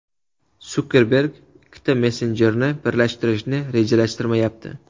Sukerberg ikkita messenjerni birlashtirishni rejalashtirmayapti.